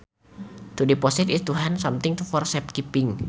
To deposit is to hand over something for safe keeping